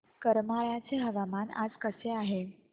करमाळ्याचे हवामान आज कसे आहे